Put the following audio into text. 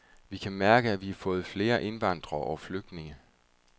Vi kan mærke, at vi har fået flere indvandrere og flygtninge.